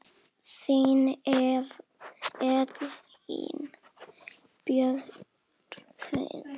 Þín Elín Björk.